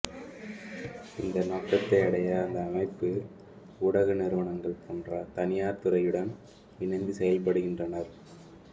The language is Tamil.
இந்த நோக்கத்தை அடைய அந்த அமைப்பு ஊடக நிறுவனங்கள் போன்ற தனியார் துறையுடன் இணைந்து செயல்படுகின்றனர்